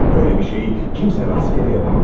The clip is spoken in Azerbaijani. Böylə bir şeyi kimsə rastgele yapamaz.